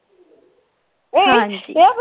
ਹਾਂਜੀ.